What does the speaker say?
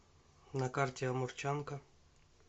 на карте амурчанка